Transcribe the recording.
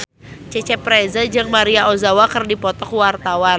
Cecep Reza jeung Maria Ozawa keur dipoto ku wartawan